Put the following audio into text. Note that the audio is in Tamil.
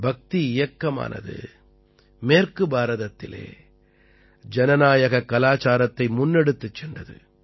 பக்தி இயக்கமானது மேற்கு பாரதத்திலே ஜனநாயகக் கலாச்சாரத்தை முன்னெடுத்துச் சென்றது